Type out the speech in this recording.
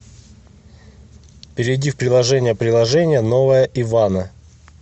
перейди в приложение приложение новое ивана